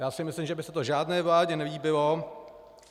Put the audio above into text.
Já si myslím, že by se to žádné vládě nelíbilo.